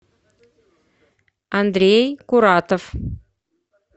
андрей куратов